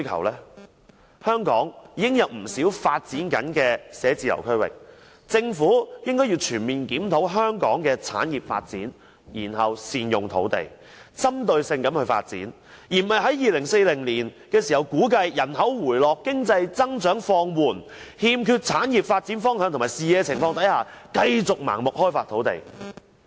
香港已有不少發展中的辦公室區域，政府應該全面檢討香港的產業發展，然後善用土地，針對性發展，而不是估計2040年時人口回落、經濟增長放緩，欠缺產業發展方向和視野情況下，繼續盲目開發土地。